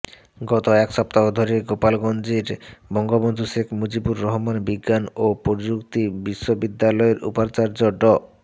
গত এক সপ্তাহ ধরে গোপালগঞ্জের বঙ্গবন্ধু শেখ মুজিবুর রহমান বিজ্ঞান ও প্রযুক্তি বিশ্ববিদ্যালয়ের উপাচার্য ড